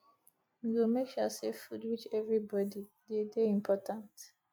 we go make sure sey food reach everybodi e dey dey important